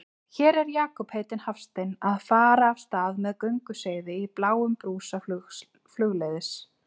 Hér er Jakob heitinn Hafstein að fara af stað með gönguseiði í bláum brúsa flugleiðis.